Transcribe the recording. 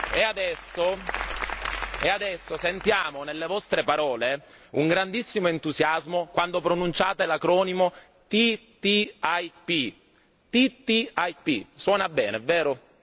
E adesso sentiamo nelle vostre parole un grandissimo entusiasmo quando pronunciate l'acronimo TTIP, suona bene vero?